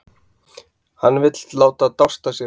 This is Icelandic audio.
Hann vill láta dást að sér.